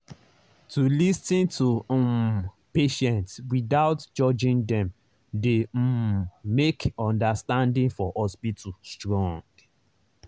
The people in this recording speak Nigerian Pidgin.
to lis ten to um patients without judging dem dey um make understanding for hospital strong.